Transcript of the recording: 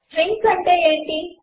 strings అంటే ఏమిటి